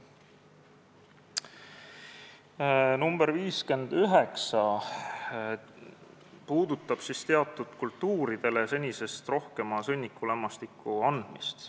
Muudatusettepanek nr 59 puudutab teatud kultuuridele senisest rohkema sõnnikulämmastiku andmist.